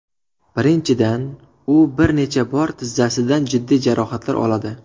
Birinchidan, u bir necha bor tizzasidan jiddiy jarohatlar oladi.